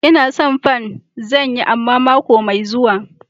Ina son pan. Zan yi amma mako mai zuwa